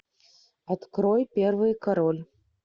открой первый король